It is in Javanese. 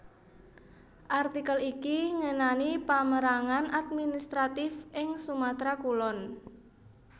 Artikel iki ngenani pamérangan administratif ing Sumatera Kulon